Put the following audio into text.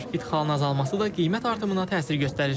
İdxalın azalması da qiymət artımına təsir göstərir.